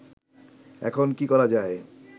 এখন কি করা যায়